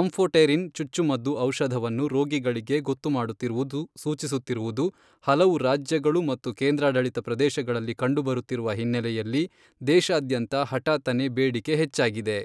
Amphotericin ಚುಚ್ಚುಮದ್ದು ಔಷಧವನ್ನು ರೋಗಿಗಳಿಗೆ ಗೊತ್ತು ಮಾಡುತ್ತಿರುವುದು ಸೂಚಿಸುತ್ತಿರುವುದು ಹಲವು ರಾಜ್ಯಗಳು ಮತ್ತು ಕೇಂದ್ರಾಡಳಿತ ಪ್ರದೇಶಗಳಲ್ಲಿ ಕಂಡುಬರುತ್ತಿರುವ ಹಿನ್ನೆಲೆಯಲ್ಲಿ, ದೇಶಾದ್ಯಂತ ಹಠಾತ್ತನೇ ಬೇಡಿಕೆ ಹೆಚ್ಚಾಗಿದೆ.